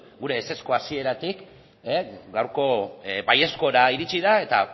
gure ezezko hasieratik gaurko baiezkora iritsi da eta